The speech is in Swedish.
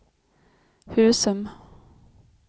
Husum